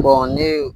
ne ye